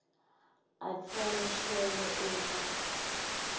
atfole shwele uma